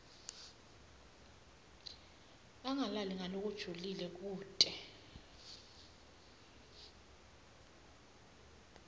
angalaleli ngalokujulile kute